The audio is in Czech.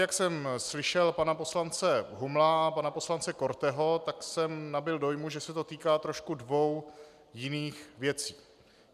Jak jsem slyšel pana poslance Humla a pana poslance Korteho, tak jsem nabyl dojmu, že se to týká trošku dvou jiných věcí.